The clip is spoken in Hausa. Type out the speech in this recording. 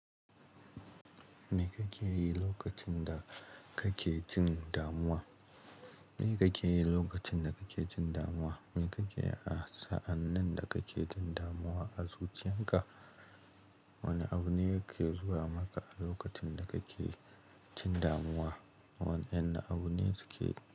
Me kake yi lokacin da kake jin damuwa? Me kake yi lokacin da kake jin damuwa? Me kake yi a sa'annin da kake jin damuwa a zuciyar ka? Wane abu ne yake zuwa maka a lokacin da kake jin damuwa? Waɗanne abu ne su ke.